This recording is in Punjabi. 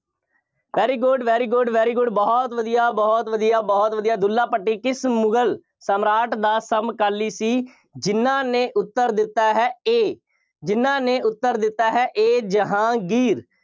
very good, very good, very good ਬਹੁਤ ਵਧੀਆ, ਬਹੁਤ ਵਧੀਆ, ਬਹੁਤ ਵਧੀਆ। ਦੁੱਲਾ ਭੱਟੀ ਕਿਸ ਮੁਗਲ ਸਮਰਾਟ ਦਾ ਸਮਕਾਲੀ ਸੀ? ਜਿੰਨ੍ਹਾ ਨੇ ਉੱਤਰ ਦਿੱਤਾ ਹੈ A ਜਿੰਨ੍ਹਾ ਨੇ ਉੱਤਰ ਦਿੱਤਾ ਹੈ A ਜਹਾਂਗੀਰ।